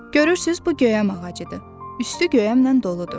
Görürsüz bu göyəm ağacıdır, üstü göyəmlə doludur.